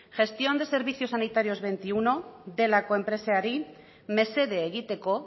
gestión de servicios sanitarios hogeita bat delako enpresari mesede egiteko